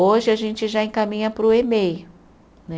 Hoje, a gente já encaminha para o emei, né?